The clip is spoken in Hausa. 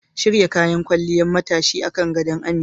Shirya kayan kwalliyar matashin akan gado Amina.